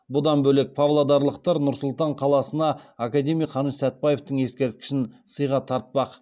бұдан бөлек павлодарлықтар нұр сұлтан қаласына академик қаныш сәтбаевтың ескерткішін сыйға тартпақ